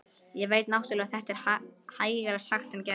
Ég veit náttúrlega að þetta er hægara sagt en gert.